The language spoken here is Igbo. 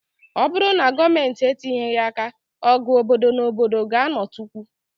Ọ bụrụ na Gọọmentị etinyeghị àkà, ọgụ obodo na obodo ga-ạnọtukwu